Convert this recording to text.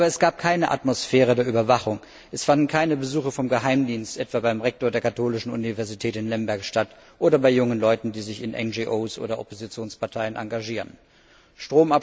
Aber es gab keine Atmosphäre der Überwachung, es fanden keine Besuche des Geheimdienstes, etwa beim Rektor der Katholischen Universität in Lemberg oder bei jungen Leuten, die sich in NRO oder Oppositionsparteien engagieren, statt.